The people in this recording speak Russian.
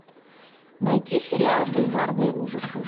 найти сериал бульварные ужасы